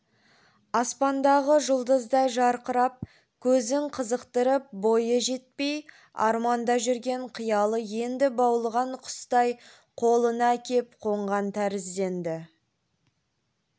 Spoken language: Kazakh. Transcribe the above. аспандағы жұлдыздай жарқырап көзін қызықтырып бойы жетпей арманда жүрген қиялы енді баулыған құстай қолына кеп қонған тәрізденді